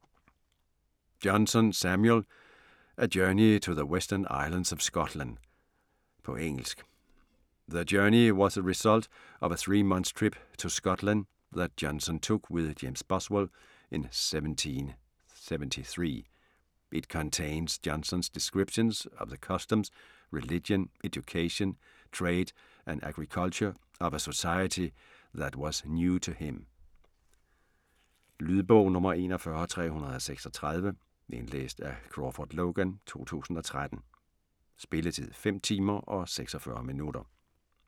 Johnson, Samuel: A journey to the western islands of Scotland På engelsk. The Journey was the result of a three-month trip to Scotland that Johnson took with James Boswell in 1773. It contains Johnson's descriptions of the customs, religion, education, trade, and agriculture of a society that was new to him. Lydbog 41336 Indlæst af Crawford Logan, 2013. Spilletid: 5 timer, 46 minutter.